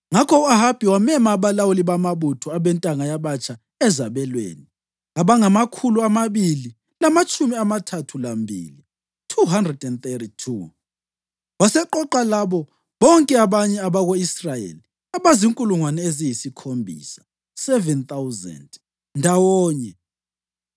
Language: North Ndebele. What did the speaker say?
Ngakho u-Ahabi wamema abalawuli bamabutho abentanga yabatsha ezabelweni, abangamakhulu amabili lamatshumi amathathu lambili (232). Waseqoqa labo bonke abanye abako-Israyeli abazinkulungwane eziyisikhombisa (7,000) ndawonye.